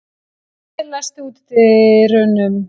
Dúi, læstu útidyrunum.